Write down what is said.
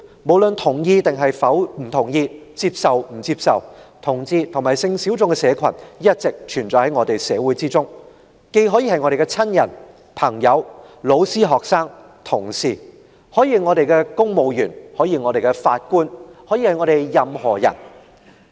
無論我們同意與否，接受與否，同志及性小眾的社群一直存在於我們的社會中，他們既可能是我們的親人、朋友、老師、學生、同事，也可能是公務員、法官或任何人。